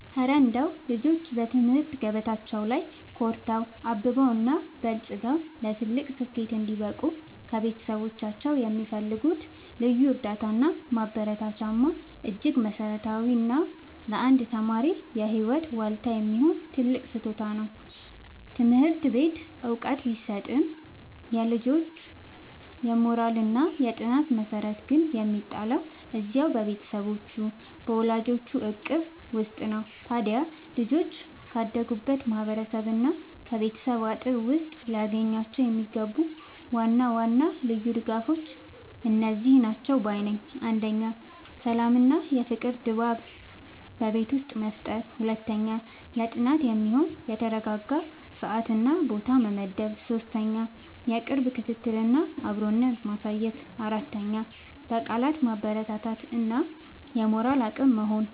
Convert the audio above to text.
እረ እንደው ልጆች በትምህርት ገበታቸው ላይ ኮርተው፣ አብበውና በልጽገው ለትልቅ ስኬት እንዲበቁ ከቤተሰቦቻቸው የሚፈልጉት ልዩ እርዳታና ማበረታቻማ እጅግ መሠረታዊና ለአንድ ተማሪ የህይወት ዋልታ የሚሆን ትልቅ ስጦታ ነው! ትምህርት ቤት ዕውቀት ቢሰጥም፣ የልጁ የሞራልና የጥናት መሠረት ግን የሚጣለው እዚያው በቤቱ በወላጆቹ እቅፍ ውስጥ ነው። ታዲያ ልጆች ካደጉበት ማህበረሰብና ከቤተሰብ አጥር ውስጥ ሊያገኟቸው የሚገቡ ዋና ዋና ልዩ ድጋፎች እነዚህ ናቸው ባይ ነኝ፦ 1. የሰላምና የፍቅር ድባብ በቤት ውስጥ መፍጠር 2. ለጥናት የሚሆን የተረጋጋ ሰዓትና ቦታ መመደብ 3. የቅርብ ክትትልና አብሮነት ማሳየት 4. በቃላት ማበረታታት እና የሞራል አቅም መሆን